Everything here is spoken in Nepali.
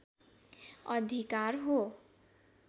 अधिकार हो